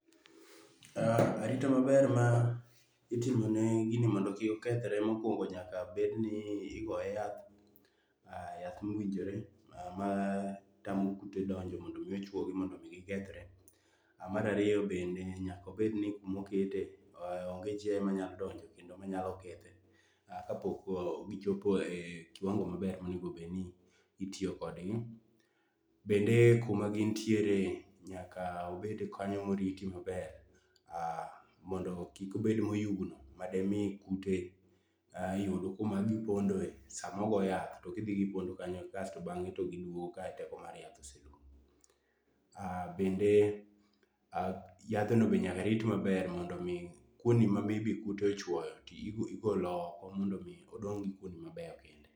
Arita maber ma itimo ne gini mondo kik okethre mokuongo nyaka bed ni ogoye yath yath mowinjore ma tamo kute donjo mondo mi ochuogi mondo mi gikethre. Mar ariyo bende nyako bed ni kumokete onge chiayo manya donjo kendo manya kethe kapok gichopo e kiwango maber monego bed ni itiyo kodgi. Bende kuma gintiere nyaka obed kanyo moriti maber mondo kik obed moyugno made mi kute yud kuma gipondoe samogo yath to gibi gipondo kanyo asto bang'e giduogo ka teko mar yath oserumo. Bende yadhno be nyaka rit maber mondo mi kuonde ma maybe kute ochuoyo igolo oko mondo mi odong' gi kuonde mabeyo kende.